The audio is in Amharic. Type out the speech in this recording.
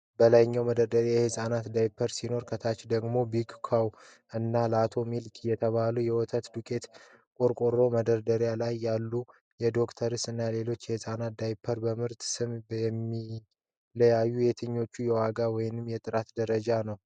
በላይኛው መደርደሪያ የህጻናት ዳይፐሮች ሲኖሩ፣ ከታች ደግሞ "BIG COW" እና "LATO MILK" የተባሉ የወተት ዱቄት ቆርቆሮዎች ። በመደርደሪያው ላይ ያሉት የ"Dr. S" እና ሌሎች የህጻናት ዳይፐሮች በምርት ስም የሚለያዩት ለየትኛው የዋጋ ወይም የጥራት ደረጃ ነው?